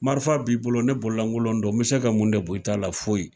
Marifa b'i bolo ne bololankolon don n mi se ka mun de bɔ i ta la foyi